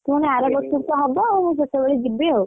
ପୁଣି ଆର ବର୍ଷକୁ ତ ହବ ଆଉ ମୁଁ ସେତବେଳେ ଯିବି ଆଉ,